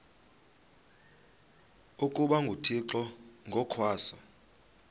ukuba nguthixo ngokwaso